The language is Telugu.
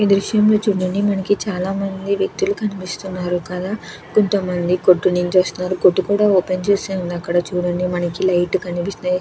ఈ దృశంలో చూడండి మనకి చాలా మంది వ్యక్తులు కనిపిస్తున్నారు కదా. కొంత మంది కొట్టు నుంచి వస్తున్నారు. కొట్టు కూడా ఓపెన్ చేసి ఉంది అక్కడ చూడండి. మనకి లైట్ లు కనిపిస్తున్నాయ్.